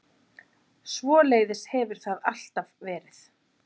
Svoleiðis hefur það alltaf verið.